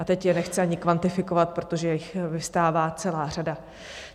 A teď je nechci ani kvantifikovat, protože jich vyvstává celá řada.